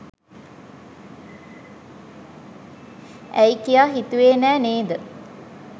ඇයි කියා හිතුවේ නෑ නේද?